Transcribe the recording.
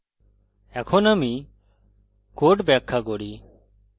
এখন আমি code ব্যাখা করি